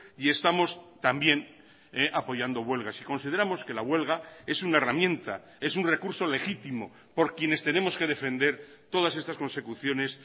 y estamos también apoyando huelgas y consideramos que la huelga es una herramienta es un recurso legítimo por quienes tenemos que defender todas estas consecuciones